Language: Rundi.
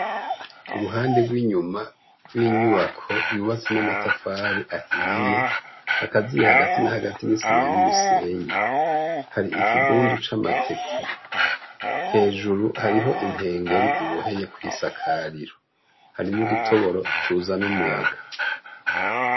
Uruhande gw' inyuma gw' inyubako yubatse n' amatafari ahiye, hagati na hagati ni isima n' umusenyi hari ikigunda c' amateke, hejuru hariho inkengeri iboheye kwi sakariro hari n' udutoboro tuzana umuyaga.